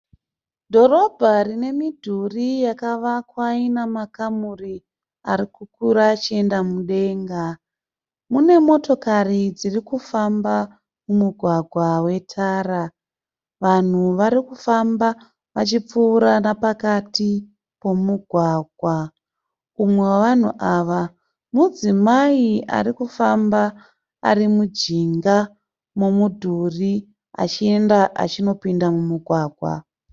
Dhorobha rine midhuri yakavakwa ina makamuru ari kukukura achienda mudenga. Mune motokari dziri kufamba mumugwgawa wetara. Vanhu vari kufamba vachipfuura napakati pemugwagwa. Umwe wavanhu ava, mudzimai ari kufamba ari mujinga memudhuri achienda achinopinda mumugwagwa.